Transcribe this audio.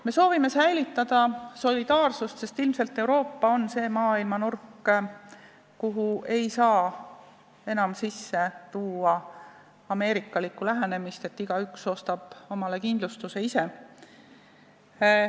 Me soovime säilitada solidaarsust, sest ilmselt on Euroopa see maailmanurk, kuhu ei saa enam sisse tuua ameerikalikku lähenemist, et igaüks ostab endale kindlustuse ise.